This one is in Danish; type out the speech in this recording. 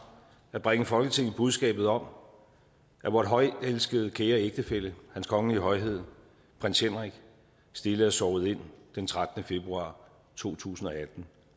at bringe folketinget budskabet om at vor højtelskede kære ægtefælle hans kongelige højhed prins henrik stille er sovet ind den trettende februar to tusind og atten